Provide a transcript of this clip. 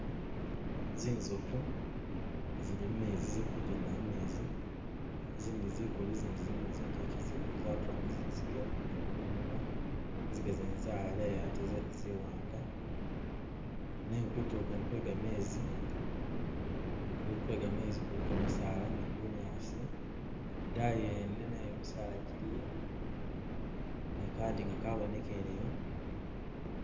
Zinzofu zili mumezi zili kijendela mumeezi zikulu zindi zilimo zinjekye zikulu zatula ni zinziga imunwa zinziga zene zaleya ate ziwanga nenga kutulo kwene kwegameezi kuliko misaala ni bunyaasi idayi wene naye misaala giliyo ni kadinga kabonekeleya